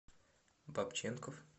бабченков